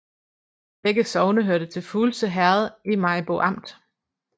Begge sogne hørte til Fuglse Herred i Maribo Amt